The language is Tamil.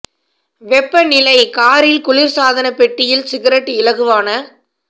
வெப்ப நிலை காரில் குளிர்சாதன பெட்டியில் சிகரெட் இலகுவான